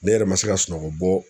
Ne yɛrɛ ma se ka sunɔgɔ bɔ